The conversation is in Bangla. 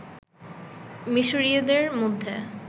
মিশরীয়দের মধ্যে